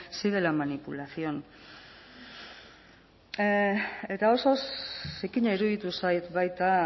sí de la manipulación eta oso zikina iruditu zait baita